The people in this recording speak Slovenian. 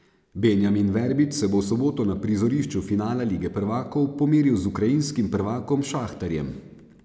Benjamin Verbič se bo v soboto na prizorišču finala lige prvakov pomeril z ukrajinskim prvakom Šahtarjem.